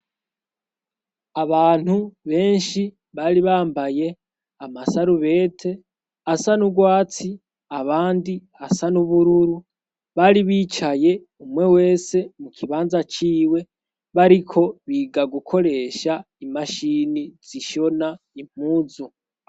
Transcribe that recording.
Abantu benshi bari bambaye amasarubete asa n'urwatsi abandi asa n'ubururu bari bicaye umwe wese mu kibanza ciwe bariko biga gukoresha imashini zishona impuzu.